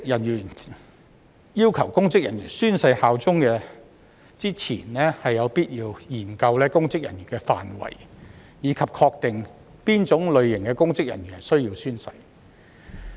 在要求公職人員宣誓效忠前，有必要研究公職人員的範圍，以及確定何種類型的公職人員需要宣誓。